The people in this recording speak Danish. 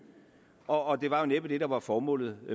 og det var jo næppe det der var formålet